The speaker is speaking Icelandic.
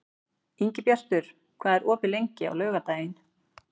Ingibjartur, hvað er opið lengi á laugardaginn?